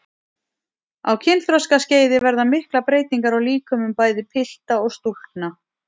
Á kynþroskaskeiði verða miklar breytingar á líkömum bæði pilta og stúlkna.